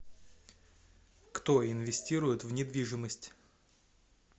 кто инвестирует в недвижимость